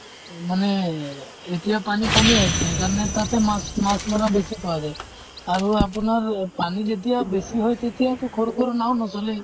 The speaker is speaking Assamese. মানে এহ এতিয়া পানী কমে আছে সেইকাৰণ তাতে মাছ মাছ ধৰা বেছি পোৱা যায়। আৰু আপোনাৰ পানী যেতিয়া বেছি হয় তেতিয়াতো সৰু সৰু নাওঁ নচলেই।